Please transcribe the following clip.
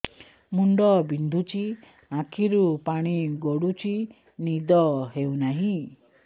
ମୁଣ୍ଡ ବିନ୍ଧୁଛି ଆଖିରୁ ପାଣି ଗଡୁଛି ନିଦ ହେଉନାହିଁ